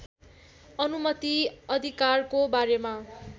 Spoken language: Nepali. अनुमति अधिकारको बारेमा